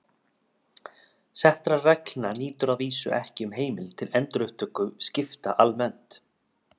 Settra reglna nýtur að vísu ekki um heimild til endurupptöku skipta almennt.